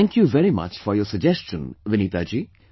Thank you very much for your suggestion Vineeta ji